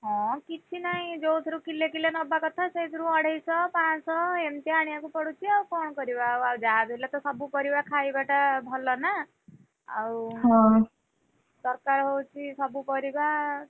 ହଁ କିଛି ନାହିଁ ଯୋଉଥିରୁ କିଲେ କିଲେ ନବା କଥା, ସେଇଥିରୁ ଅଢେଇଶ ପାଂଶହ ଏମିତି ଆଣିଆକୁ ପଡ଼ୁଚି ଆଉ କଣ କରିବା ଆଉ ଯାହା ବି ହେଲେ ତ ସବୁ ପରିବା ଖାଇବା ଟା ଭଲ ନା। ଆଉ ଦରକାର ହଉଛି ସବୁ ପରିବା।